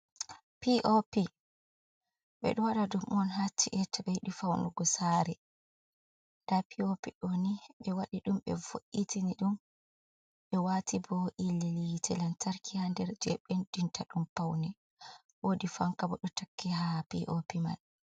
POP ɓedo waɗa ɗum on ha ci’eji ɓe yiɗi faunugo sare, nda POP ɗo ni ɓe waɗi ɗum be vo’’itini ɗum ɓe wati bo yite lantarki ha nder, je bendinta ɗum paune, woodi fanka bo ɗo takki ha POP man.